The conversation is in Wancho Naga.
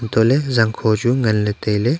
antoh ley zang kho chu ngan ley tailey.